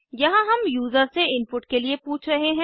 यहाँ हम यूजर से इनपुट के लिए पूछ रहे हैं